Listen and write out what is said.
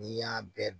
N'i y'a bɛɛ